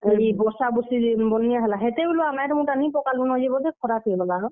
ଇ ବର୍ଷା ବୁର୍ଷି ଜେନ୍ ବନ୍ୟା ହେଲା, ହେତେ ବେଲୁ ଆଉ ମାଏଟ୍ ମୁଟା ନି ପକାଲୁଁ ନ ଯେ ବୋଧେ ଖରାପ୍ ହେଇଗଲା ହୋ।